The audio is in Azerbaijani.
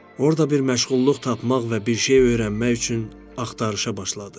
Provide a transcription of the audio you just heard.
Orda bir məşğulluq tapmaq və bir şey öyrənmək üçün axtarışa başladı.